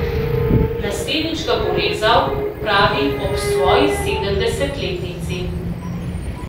Naslednjič ga bo rezal, pravi, ob svoji sedemdesetletnici.